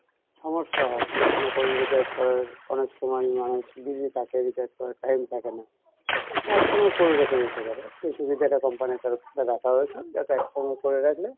সমস্যা হয় মনে করেন recharge করার অনেক সময় নাই busy থাকেন recharge করার time থাকে না তো এক সঙ্গে করে রেখে নিতে পারেন সেই সুবিধাটা company ইর তরফ থেকে রাখা হয়েছে যাতে এক সঙ্গে করে রাখলে